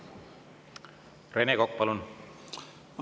Rene Kokk, palun!